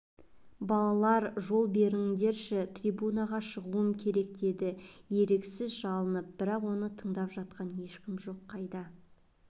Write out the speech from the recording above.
балалар жол беріңдерші трибунаға шығуым керек деді еріксіз жалынып бірақ оны тыңдап жатқан ешкім жоқ қайда